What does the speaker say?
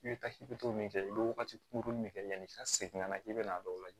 I bɛ taa i bɛ to min kɛ i bɛ wagati kuru min de kɛ yanni i ka segin ka na i bɛn'a dɔw lajɛ